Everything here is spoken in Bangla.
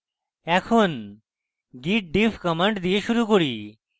এখন git diff command দিয়ে শুরু করি